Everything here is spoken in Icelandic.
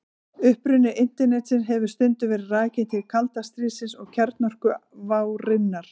Uppruni Internetsins hefur stundum verið rakinn til kalda stríðsins og kjarnorkuvárinnar.